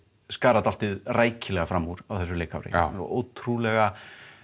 skara dálítið rækilega fram úr á þessu leikári ótrúlega